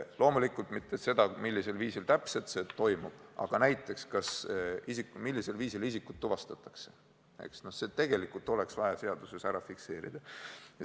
Loomulikult ei pea seaduses fikseerima seda, millisel viisil kõik täpselt toimub, aga näiteks see, millisel viisil isik tuvastatakse, oleks seaduses vaja fikseerida küll.